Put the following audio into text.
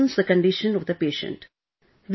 It worsens the condition of the patient